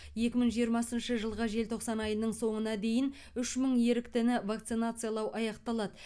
екі мың жиырмасыншы жылғы желтоқсан айының соңына дейін үш мың еріктіні вакцинациялау аяқталады